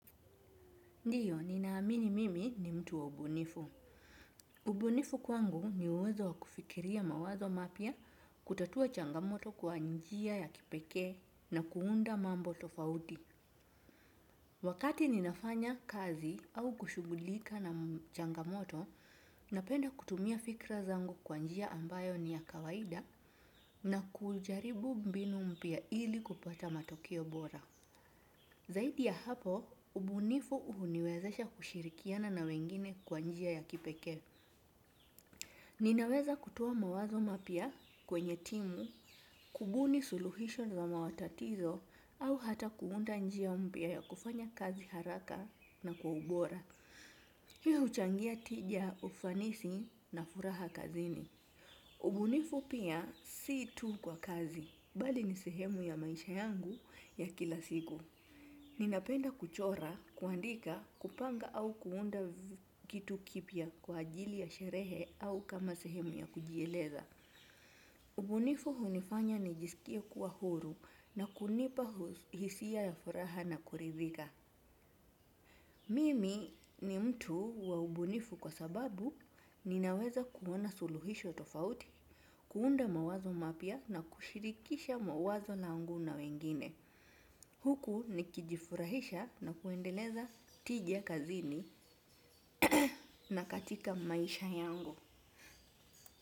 Ndiyo, ninaamini mimi ni mtu wa ubunifu. Ubunifu kwangu ni uwezo wa kufikiria mawazo mapya kutatua changamoto kwa njia ya kipekee na kuunda mambo tofauti. Wakati ninafanya kazi au kushugulika na changamoto, napenda kutumia fikra zangu kwa njia ambayo ni ya kawaida na kujaribu mbinu mpya ili kupata matokeo bora. Zaidi ya hapo, ubunifu uhuniwezesha kushirikiana na wengine kwa njia ya kipeke. Ninaweza kutowa mawazo mapia kwenye timu, kubuni suluhisho na mawatatizo au hata kuunda njia mpia ya kufanya kazi haraka na kwa ubora. Hii uchangia tija ufanisi na furaha kazini. Ubunifu pia si tu kwa kazi, bali nisehemu ya maisha yangu ya kila siku. Ninapenda kuchora, kuandika, kupanga au kuunda kitu kipia kwa ajili ya sherehe au kama sehemu ya kujieleza. Ubunifu hunifanya nijisikie kuwa huru na kunipa hisia ya furaha na kuridhika. Mimi ni mtu wa ubunifu kwa sababu ninaweza kuwona suluhisho tofauti, kuunda mawazo mapia na kushirikisha mawazo langu na wengine. Huku nikijifurahisha na kuendeleza tija kazini na katika maisha yangu.